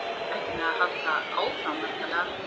Ekki með að halda áfram, væntanlega?